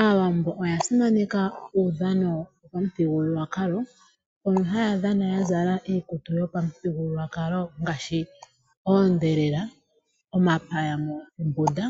Aawambo oyasimaneka uudhano wopa muthigululwakalo, mono hayadhana yazala iikutu yopamuthigululwakalo ngaashi oondhelela omapaya moombunda